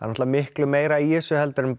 náttúrulega mikið meira í þessu heldur en